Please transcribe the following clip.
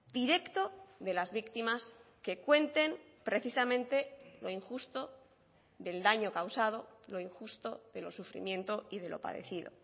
directo de las víctimas que cuenten precisamente lo injusto del daño causado lo injusto del sufrimiento y de lo padecido